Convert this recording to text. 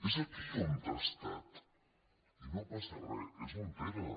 és aquí on ha estat i no passa re és on era